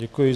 Děkuji.